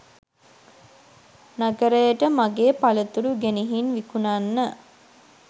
නගරයට මගේ පළතුරු ගෙනිහින් විකුණන්න